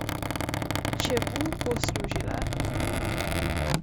Čemu bo služila?